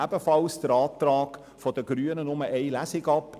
Ebenfalls lehnen wir den Antrag der Grünen ab.